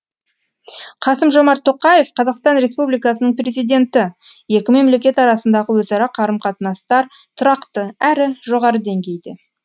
қасым жомарт тоқаев қазақстан республикасының президенті екі мемлекет арасындағы өзара қарым қатынастар тұрақты әрі жоғары деңгейде